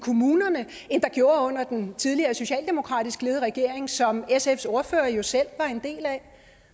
kommunerne end der gjorde under den tidligere socialdemokratisk ledede regering som sfs ordfører jo selv var en del af